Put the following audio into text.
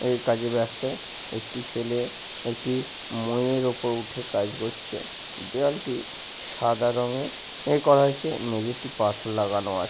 এই কাজে ব্যস্ত। একটি ছেলে একটি ময়ের ওপর উঠে কাজ করছে। দেয়াল টি সাদা রঙের এ করা হয়েছে। মেঝেটি পাথর লাগানো আছ--